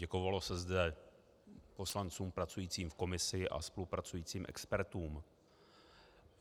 Děkovalo se zde poslancům pracujícím v komisi a spolupracujícím expertům.